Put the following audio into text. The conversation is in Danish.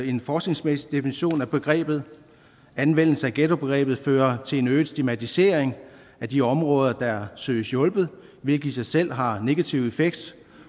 en forskningsmæssig definition af begrebet anvendelse af ghettobegrebet fører til en øget stigmatisering af de områder der søges hjulpet hvilket i sig selv har en negativ effekt